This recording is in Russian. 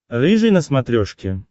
рыжий на смотрешке